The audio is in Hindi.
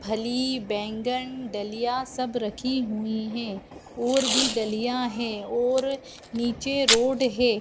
फली बैगन डलीया सब रखी हुई है और भी डलीया है ओर निचे रोड है।